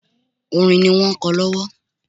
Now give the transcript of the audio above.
Orin ni wọ́n ń kọ lọ́wọ́